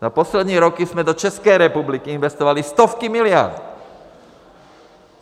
Za poslední roky jsme do České republiky investovali stovky miliard.